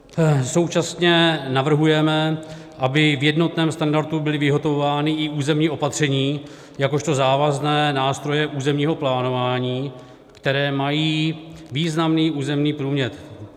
Současně navrhujeme, aby v jednotném standardu byla vyhotovována i územní opatření jakožto závazné nástroje územního plánování, které mají významný územní průměr.